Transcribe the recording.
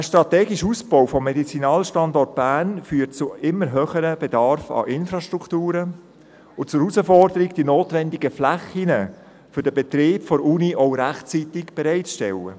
Der strategische Ausbau des Medizinalstandorts Bern führt zu einem steigenden Bedarf an Infrastrukturen und zur Herausforderung, die notwendigen Flächen für den Betrieb der Universität auch rechtzeitig bereitzustellen.